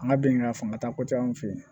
An ka bɛnkan fantan kojan an fɛ yen